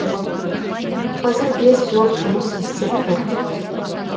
қазір бес блок жұмыс істеп тұр